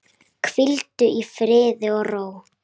Hvíldu í friði og ró.